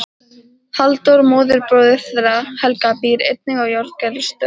Halldór móðurbróðir þeirra Helga býr einnig að Járngerðarstöðum.